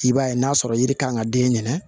I b'a ye n'a sɔrɔ yiri kan ka den ɲɛnɛ